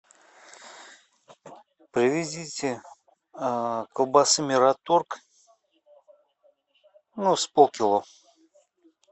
привезите колбасы мираторг ну с пол кило